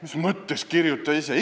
" Mis mõttes kirjuta ise?